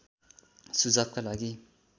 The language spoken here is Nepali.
सुझावका लागि